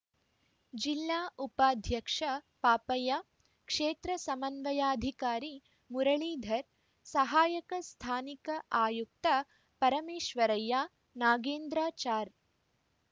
ಜಿಲ್ಲಾ ಉಪಾಧ್ಯಕ್ಷ ಪಾಪಯ್ಯ ಕ್ಷೇತ್ರ ಸಮನ್ವಯಾಧಿಕಾರಿ ಮುರಳೀಧರ್‌ ಸಹಾಯಕ ಸ್ಥಾನಿಕ ಆಯುಕ್ತ ಪರಮೇಶ್ವರಯ್ಯನಾಗೇಂದ್ರಾಚಾರ್‌